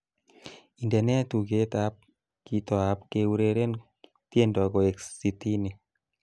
Indenee tugetab kitoab keureren tiendo koek sitin